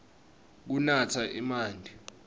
kunatsa emanti